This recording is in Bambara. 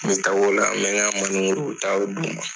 N bɛ taa o la, n bɛ ka taa o ma